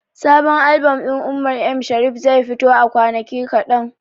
Sabon albom ɗin Umar M Sharif zai fito a kwanaki kaɗan.